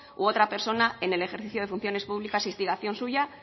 u otra persona en el ejercicio de funciones públicas a instigación suya